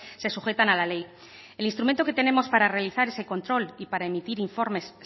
se sujetan a la ley el instrumento que tenemos para realizar ese control y para emitir informes